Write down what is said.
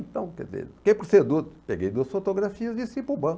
Então, quer dizer, o que que você peguei duas fotografias, desci para o banco.